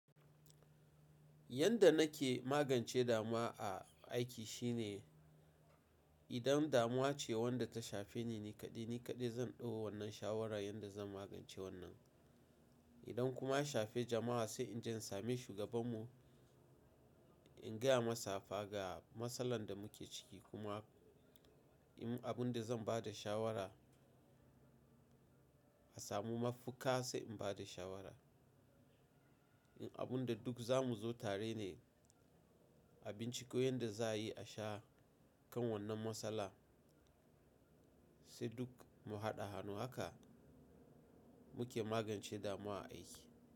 Yanda nake magance damuwa a aiki shine idan damuwa ce wadda ta shafe ni ni kaɗai, ni kaɗai zan ɗau wannan shawara yanda zan magance wannan. Idan kuma ya shafe jama'a sai inje in sami shugaban mu, in gaya masa fa ga matsalar da muke ciki kuma in abun da zan ba da shawara, a samu mafuka sai in ba da shawara. In abun da duk zamu zo tare ne, abinci ko yanda za a yi a shawo kan wannan matsala sai duk mu haɗa hannu. Haka muke magance damuwa a aiki.